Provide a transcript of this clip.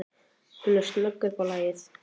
Hún er snögg upp á lagið.